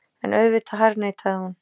En auðvitað harðneitaði hún.